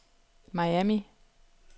Miami